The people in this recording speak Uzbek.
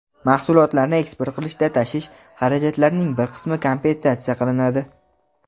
Mahsulotlarni eksport qilishda tashish xarajatlarining bir qismi kompensatsiya qilinadi.